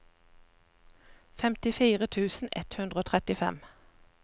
femtifire tusen ett hundre og trettifem